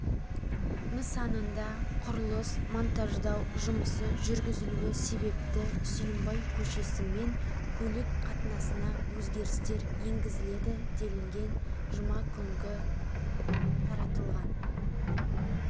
нысанында құрылыс-монтаждау жұмысы жүргізілуі себепті сүйінбай көшесімен көлік қатынасына өзгерістер енгізіледі делінген жұма күнгі таратылған